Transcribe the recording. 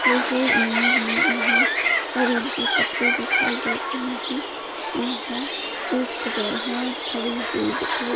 इस इमेज में यहाँ रेल की पटरी दिखाई दे रही है यहाँ एक ट्रेन है खड़ी हुई दिखाई --